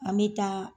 An bɛ taa